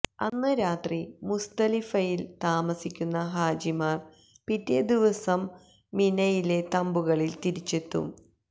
അന്ന് രാത്രി മുസ്ദലിഫയില് താമസിക്കുന്ന ഹാജിമാര് പിറ്റേ ദിവസം മിനയിലെ തമ്പുകളില് തിരിച്ചെത്തും